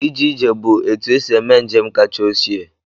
Ije ije bụ etu esi eme njem kacha ochie